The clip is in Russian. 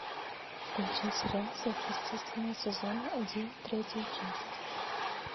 включай сериал сверхъестественное сезон один третья часть